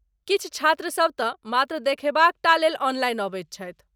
किछु छात्रसब तँ मात्र देखयबाक टा लेल ऑनलाइन अबैत छथि।